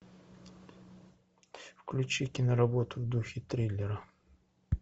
включи киноработу в духе триллера